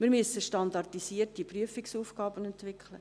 – Wir müssen standardisierte Prüfungsaufgaben entwickeln.